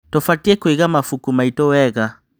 Tũbatiĩ kũiga mabuku maitũ wega.